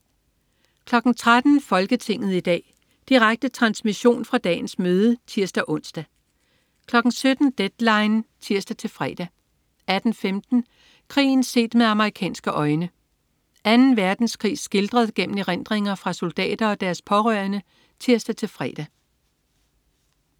13.00 Folketinget i dag. Direkte transmission fra dagens møde (tirs-ons) 17.00 Deadline 17.00 (tirs-fre) 18.15 Krigen set med amerikanske øjne. Anden Verdenskrig skildret gennem erindringer fra soldater og deres pårørende (tirs-fre)